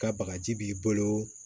Ka bagaji b'i bolo